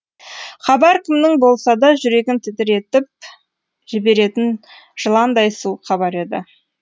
хабар кімнің болса да жүрегін тітіретіп жіберетін жыландай суық хабар еді